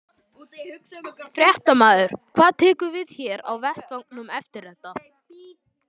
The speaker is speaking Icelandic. Fréttamaður: Hvað tekur við hér á vettvangnum eftir þetta?